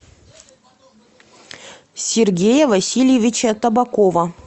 сергея васильевича табакова